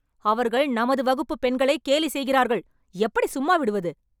அவர்கள் நமது வகுப்புப் பெண்களைக் கேலி செய்கிறார்கள். எப்படி சும்மா விடுவது?